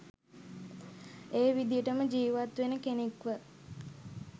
ඒ විදියටම ජීවත් වෙන කෙනෙක්ව.